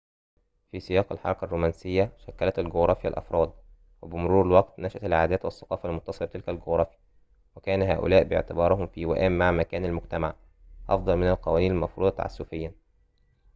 في سياق الحركة الرومانسية شكلت الجغرافيا الأفراد وبمرور الوقت نشأت العادات والثقافة المتصلة بتلك الجغرافيا وكان هؤلاء باعتبارهم في وئام مع مكان المجتمع أفضل من القوانين المفروضة تعسفيًا